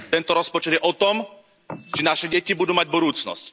Tento rozpočet je o tom, či naše deti budú mať budúcnosť.